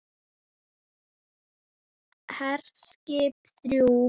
HERSKIP ÞRJÚ